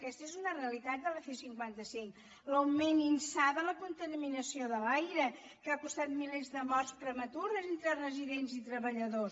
aquesta és una realitat de la c cinquanta cinc l’augment insà de la contaminació de l’aire que ha costat milers de morts prematures entre residents i treballadors